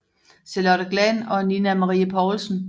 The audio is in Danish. Charlotte Glahn og Nina Marie Poulsen